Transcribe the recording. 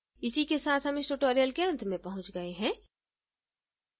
इसी के साथ हम tutorial के अंत में पहुँ गए हैं